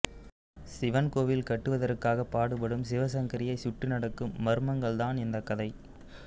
சிவன் கோவில் கட்டுவதற்காக பாடுபடும் சிவசங்கரியை சுற்றி நடக்கும் மர்மங்கள்தான் இந்த கதை